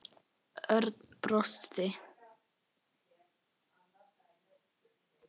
Örn brosti.